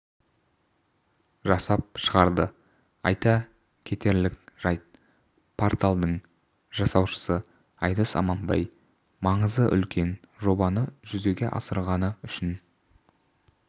жасап шығарды айта кетерлік жайт порталдың жасаушысы айдос аманбай маңызы үлкен жобаны жүзеге асырғаны үшін